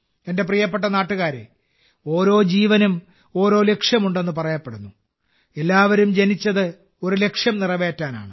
എന്റെ പ്രിയപ്പെട്ട നാട്ടുകാരേ ഓരോ ജീവനും ഓരോ ലക്ഷ്യമുണ്ടെന്ന് പറയപ്പെടുന്നു എല്ലാവരും ജനിച്ചത് ഒരു ലക്ഷ്യം നിറവേറ്റാനാണ്